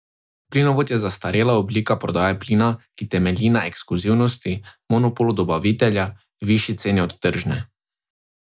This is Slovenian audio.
Plinovod je zastarela oblika prodaje plina, ki temelji na ekskluzivnosti, monopolu dobavitelja, višji ceni od tržne.